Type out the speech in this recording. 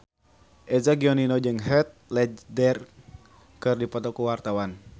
Eza Gionino jeung Heath Ledger keur dipoto ku wartawan